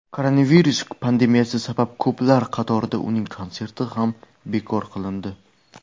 koronavirus pandemiyasi sabab ko‘plar qatorida uning konserti ham bekor qilindi.